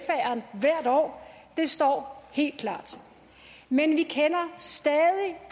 år det står helt klart men vi kender stadig